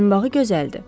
Boyunbağı gözəldir.